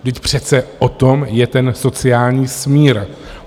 Vždyť přece o tom je ten sociální smír.